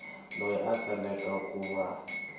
loyi a tsakelaka ku va